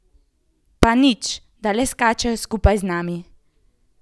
Pa nič, da le skačejo skupaj z nami.